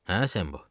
Hə, Sembo?